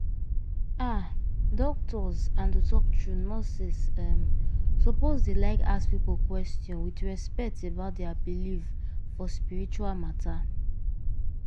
ah! doctors and to talk true nurses um suppose dey like ask people question with respect about dia believe for spiritual matter.